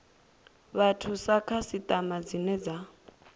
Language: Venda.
vhathu sa khasiṱama dzine dza